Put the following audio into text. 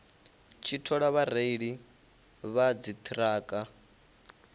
tshi thola vhareili vha dziṱhirakha